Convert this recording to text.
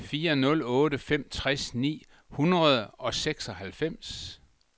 fire nul otte fem tres ni hundrede og seksoghalvfems